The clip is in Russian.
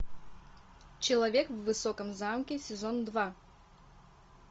человек в высоком замке сезон два